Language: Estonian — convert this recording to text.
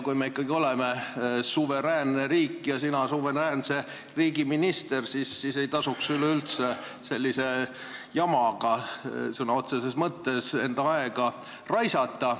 Kui me ikkagi oleme suveräänne riik ja sina suveräänse riigi minister, siis ei tasuks üleüldse sellise jamaga, sõna otseses mõttes, aega raisata.